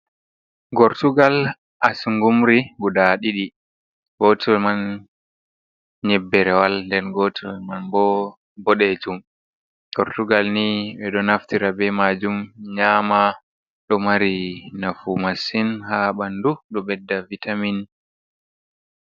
Gortugal asungumri gudaa ɗiɗi, gootel man nyebberewal, nden gootel man bo boɗeejum. Gortugal ni ɓe ɗo naftira bee maajum nyaama, ɗo mari nafu masin haa ɓanndu, ɗo ɓedda "vitamin".